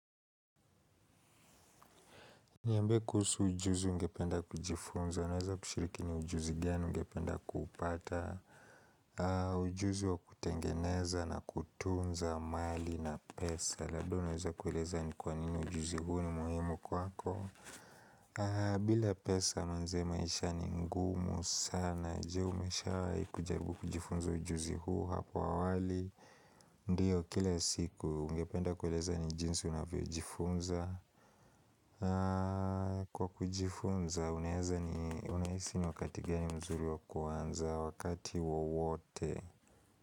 Niambie kuhusu ujuzi ungependa kujifunza, unaweza kushiriki ni ujuzi gani ungependa kuipata ujuzi wa kutengeneza na kutunza mali na pesa na hivo naweza kueleza ni kwa nini ujuzi huu ni muhimu kwako bila pesa mwenzio maisha ni ngumu sana Je umeshawahi kujaribu kujifunza ujuzi huu hapa wali Ndiyo kila siku ungependa kueleza ni jinsi unavyojifunza Kwa kujifunza, unahisi ni wakati gani mzuri wa kuanza wakati wowote.